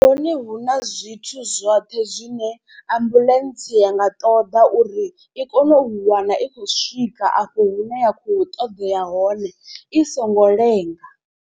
Hone hu na zwithu zwoṱhe zwine ambuḽentse ya nga ṱoḓa uri i kone u wana i khou swika afho hune ya khou ṱoḓea hone i songo lenga.